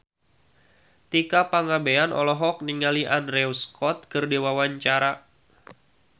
Tika Pangabean olohok ningali Andrew Scott keur diwawancara